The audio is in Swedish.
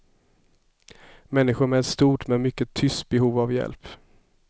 Människor med ett stort men mycket tyst behov av hjälp.